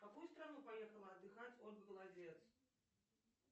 в какую страну поехала отдыхать ольга голодец